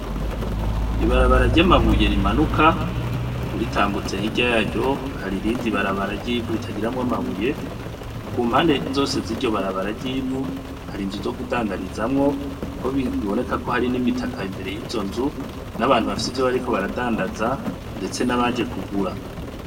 Ibarabara ryo amabuye rimanuka uritambutse hirya yaryo hari irindi barabara ryivu ritagiramwo amabuye ku mpande zose ziryo barabara ryivu hari inzu zo gudandarizamwo ko biboneka ko hari n'imitaka imbere y'izo nzu n'abantu bafise ivyo bariko baradandaza, ndetse n'abaje kugura.